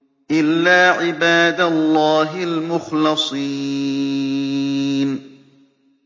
إِلَّا عِبَادَ اللَّهِ الْمُخْلَصِينَ